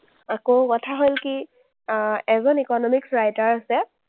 আকৌ কথা হ’ল কি, আহ এজন economic writer আছে,